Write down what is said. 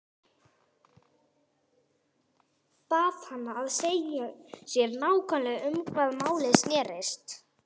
Bað hana að segja sér nákvæmlega um hvað málið snerist.